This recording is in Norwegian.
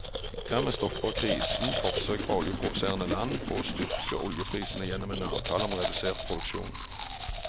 Dermed stopper krisen forsøk fra oljeproduserende land på å styrke oljeprisene gjennom en avtale om redusert produksjon.